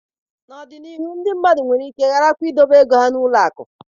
N'ọdịnihu ndị mmadụ nwere ike gharakwa idobe ego ha n'ụlọ akụ